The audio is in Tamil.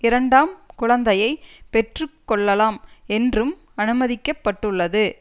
இரண்டாம் குழந்தையை பெற்று கொள்ளலாம் என்றும் அனுமதிக்க பட்டுள்ளது